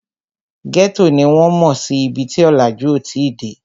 Ghetto ni wọ́n mò sí ibi tí ọ̀làjú ò tí ì dé